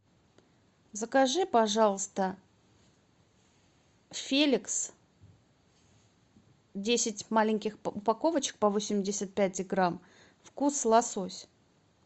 закажи пожалуйста феликс десять маленьких упаковочек по восемьдесят пять грамм вкус лосось